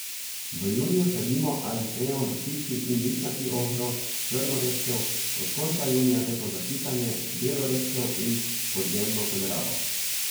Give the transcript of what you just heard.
V juniju sadimo ali sejemo brstični in listnati ohrovt, črno redkev, od konca junija repo za kisanje, belo redkev in podzemno kolerabo.